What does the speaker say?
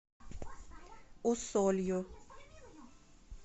усолью